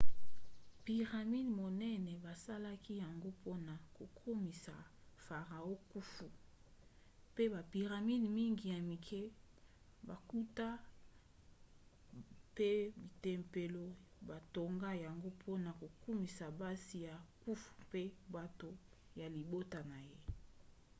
piramide monene basalaki yango mpona kokumisa farao khufu mpe bapiramide mingi ya mike bankunda mpe batempelo batonga yango mpona kokumisa basi ya khufu mpe bato ya libota na ye